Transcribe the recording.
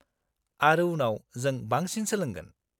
-आरो उनाव जों बांसिन सोलोंगोन।